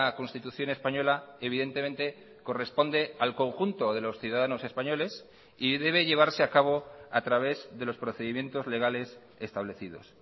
constitución española evidentemente corresponde al conjunto de los ciudadanos españoles y debe llevarse a cabo a través de los procedimientos legales establecidos